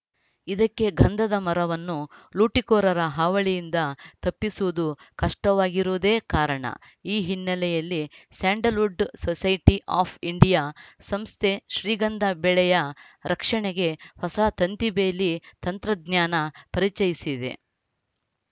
ಇದಕ್ಕೆ ಗಂಧದ ಮರವನ್ನು ಲೂಟಿಕೋರರ ಹಾವಳಿಯಿಂದ ತಪ್ಪಿಸುವುದು ಕಷ್ಟವಾಗಿರುವುದೇ ಕಾರಣ ಈ ಹಿನ್ನೆಲೆಯಲ್ಲಿ ಸ್ಯಾಂಡಲ್‌ವುಡ್‌ ಸೊಸೈಟಿ ಆಫ್‌ ಇಂಡಿಯಾ ಸಂಸ್ಥೆ ಶ್ರೀಗಂಧ ಬೆಳೆಯ ರಕ್ಷಣೆಗೆ ಹೊಸ ತಂತಿಬೇಲಿ ತಂತ್ರಜ್ಞಾನ ಪರಿಚಯಿಸಿದೆ